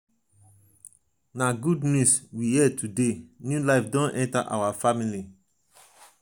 na good news we hear today new life don enter our family.